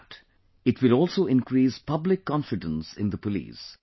Not just that, it will also increase public confidence in the police